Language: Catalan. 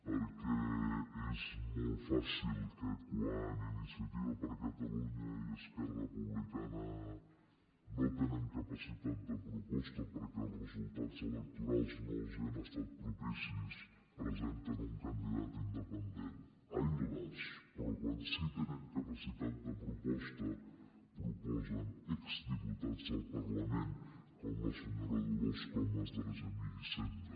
perquè és molt fàcil que quan iniciativa per catalunya i esquerra republicana no tenen capacitat de proposta perquè els resultats electorals no els han estat propicis presenten un candidat independent ai las però quan sí que tenen capacitat de proposta proposen exdiputats al parlament com la senyora dolors comas d’argemir i cendra